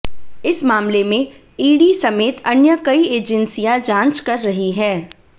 इस मामले में ईडी समेत अन्य कई एजेंसियां जांच कर रही हैं